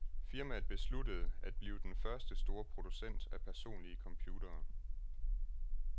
Firmaet besluttede, at blive den første store producent af personlige computere.